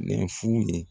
Nin fu ye